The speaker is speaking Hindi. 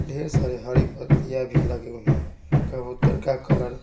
ढेर सारे हरी पत्तियां भी लगे हुए हैं कबूतर का कलर --